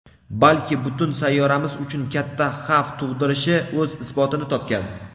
balki butun sayyoramiz uchun katta xavf tug‘dirishi o‘z isbotini topgan.